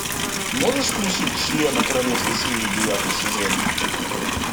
можешь включить члены королевской семьи девятый сезон